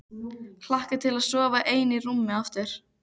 Hlakka til að sofa ein í rúmi aftur.